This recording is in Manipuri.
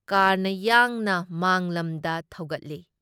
ꯀꯥꯔꯅ ꯌꯥꯡꯅ ꯃꯥꯡꯂꯝꯗ ꯊꯧꯒꯠꯂꯤ ꯫